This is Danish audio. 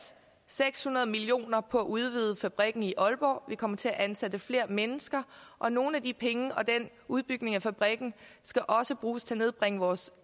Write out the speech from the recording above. seks hundrede million kroner på at udvide fabrikken i aalborg vi kommer til at ansætte flere mennesker og nogle af de penge og udbygningen af fabrikken skal også bruges til at nedbringe vores